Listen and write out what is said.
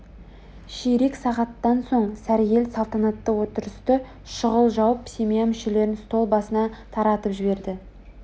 ширек сағаттан соң сәргел салтанатты отырысты шұғыл жауып семья мүшелерін стол басынан таратып жіберді